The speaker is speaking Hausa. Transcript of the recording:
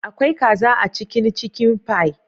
Akwai kaza a cikin " chicken pie"